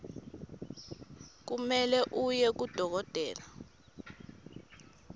kumele uye kadokotela